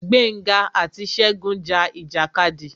Gbénga àti Ṣegún ja ìjàkadì.